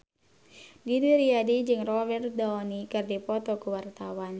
Didi Riyadi jeung Robert Downey keur dipoto ku wartawan